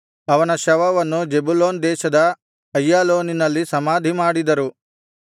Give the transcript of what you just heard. ಅವನ ಶವವನ್ನು ಜೆಬುಲೂನ್ ದೇಶದ ಅಯ್ಯಾಲೋನಿನಲ್ಲಿ ಸಮಾಧಿಮಾಡಿದರು